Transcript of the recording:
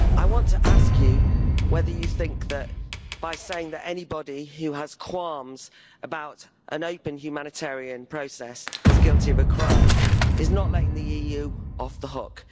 I want to ask you whether you think that, by saying that anybody who has qualms about an open humanitarian process is guilty of a crime, is not letting the EU off the hook.